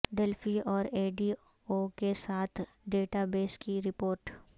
Delphi اور A D O کے ساتھ ڈیٹا بیس کی رپورٹ